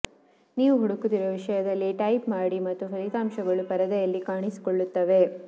ನೀವು ಹುಡುಕುತ್ತಿರುವ ವಿಷಯದಲ್ಲಿ ಟೈಪ್ ಮಾಡಿ ಮತ್ತು ಫಲಿತಾಂಶಗಳು ಪರದೆಯಲ್ಲಿ ಕಾಣಿಸಿಕೊಳ್ಳುತ್ತವೆ